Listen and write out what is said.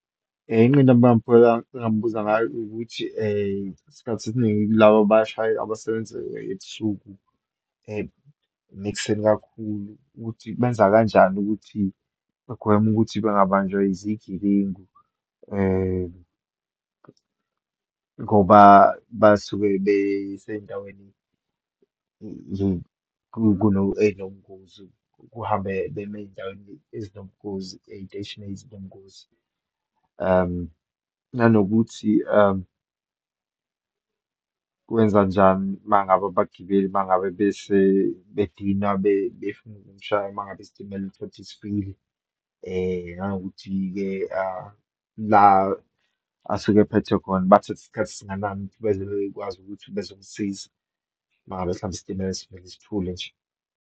Inqinamba engambuza ngayo, ukuthi isikhathi esiningi kulaba abashaye, abasebenza ebusuku nekuseni kakhulu ukuthi benza kanjani ukuthi bagwema ukuthi bangabanjwa izigebengu, ngoba basuke besendaweni kuno, eyinobungozi kuhambe bema eyindaweni ezinobungozi, eyiteshini ezinobungozi. Nanokuthi kwenzanjani uma ngabe abagibeli uma ngabe bese bedina befuna ukumshaya uma ngabe isitimela utholukuthi sifile. Nanokuthi-ke la asuke ephethwe khona bathatha isikhathi esingakanani ukuthi beze bekwazi ukuthi bezomsiza uma ngabe isitimela sivele sithule nje.